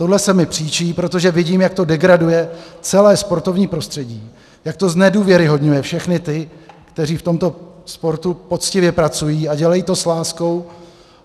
Tohle se mi příčí, protože vidím, jak to degraduje celé sportovní prostředí, jak to znedůvěryhodňuje všechny ty, kteří v tomto sportu poctivě pracují a dělají to s láskou